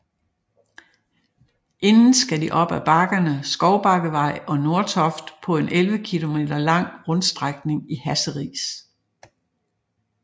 Inden skal de op af bakkerne Skovbakkevej og Nordtoft på en 11 km lang rundstrækning i Hasseris